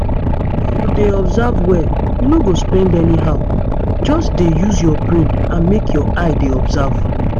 if you dey observe well you no go spend anyhow. just dey use your brain and make your eye dey observe